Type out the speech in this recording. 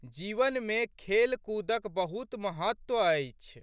जीवनमे खेलकूदक बहुत महत्व छै।